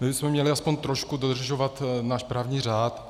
My bychom měli alespoň trošku dodržovat náš právní řád.